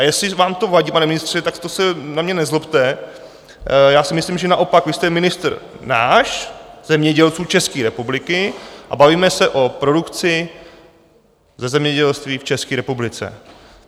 A jestli vám to vadí, pane ministře, tak to se na mě nezlobte, já si myslím, že naopak vy jste ministr nás, zemědělců České republiky, a bavíme se o produkci ze zemědělství v České republice.